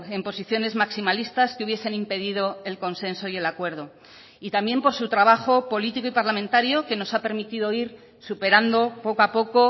en posiciones maximalistas que hubiesen impedido el consenso y el acuerdo y también por su trabajo político y parlamentario que nos ha permitido ir superando poco a poco